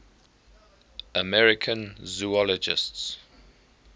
american zoologists